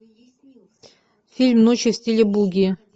фильм ночи в стиле буги